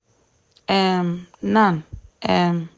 um nan um